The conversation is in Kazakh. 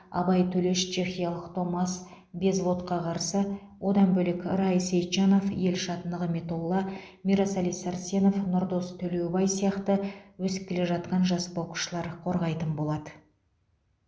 абай төлеш чехиялық томас безводқа қарсы одан бөлек рай сейтжанов елшат нығметолла мирасали сәрсенов нұрдос төлебай сияқты өсіп келе жатқан жас боксшылар қорғайтын болады